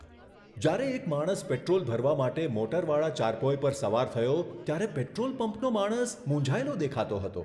જ્યારે એક માણસ પેટ્રોલ ભરવા માટે મોટરવાળા ચારપોય પર સવાર થયો, ત્યારે પેટ્રોલ પંપનો માણસ મૂંઝાયેલો દેખાતો હતો.